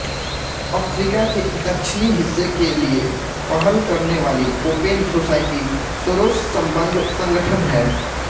Africa के दक्षिणी हिस्से के लिए पहल करनेवाली ओपेन सोसाइटी सोरोससंबद्ध संगठन है